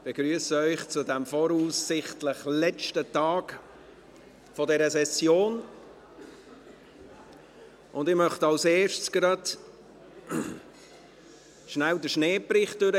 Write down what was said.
Ich begrüsse Sie zu diesem voraussichtlich letzten Tag dieser Session und möchte als Erstes schnell den Schneebericht durchgeben: